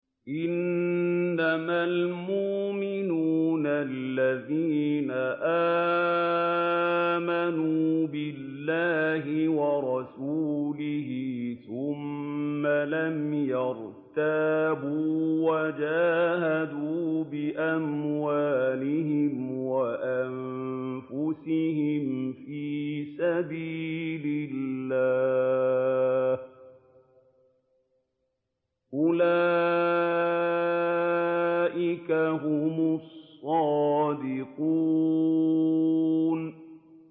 إِنَّمَا الْمُؤْمِنُونَ الَّذِينَ آمَنُوا بِاللَّهِ وَرَسُولِهِ ثُمَّ لَمْ يَرْتَابُوا وَجَاهَدُوا بِأَمْوَالِهِمْ وَأَنفُسِهِمْ فِي سَبِيلِ اللَّهِ ۚ أُولَٰئِكَ هُمُ الصَّادِقُونَ